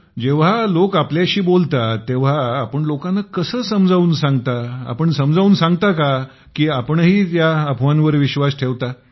जेव्हा लोक आपल्याशी बोलतात तेव्हा आपण लोकांना कसं समजावून सांगता आपण समजावून सांगता की आपणही अफवांवर विश्वास ठेवता